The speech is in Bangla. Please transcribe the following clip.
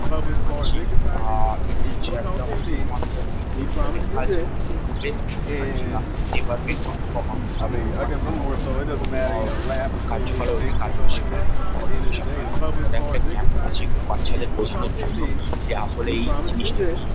আমরা দেখতে পাচ্ছি আহ এটা হচ্ছে একটা অনেক কমার্স -এর টিউশন যেটা লেখা আছে West Virginia department of commerce. এখানে কমার্স -এর সব রকমের আ ও ব কার্যকলাপ এখানে কাজবাজ শেখানো হয়ে থাকে পড়াশুনা শেখানো হয়। তারজন্য ওরা একটা ক্যাম্প করেছে এখানে বাচ্ছাদের বোঝানোর জন্য যে আসলে এই জিনিসটা কি।